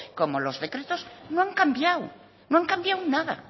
como los decretos no han cambiado no han cambiado nada